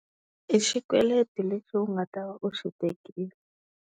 I xikweleti lexi u nga tava u xi tekile.